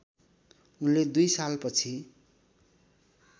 उनले दुई सालपछि